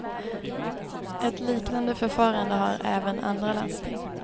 Ett liknande förfarande har även andra landsting.